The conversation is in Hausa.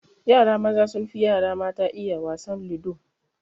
Yara maza sun fi yara mata iya wasan ludo